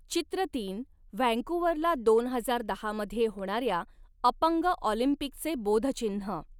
चित्र तीन व्हँकूव्हरला दोन हजार दहा मध्ये होणाऱ्या अपंग ऑलिंपिकचे बोधचिन्ह.